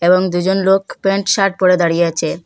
এবং দুজন লোক প্যান্ট শার্ট পরে দাঁড়িয়ে আছে।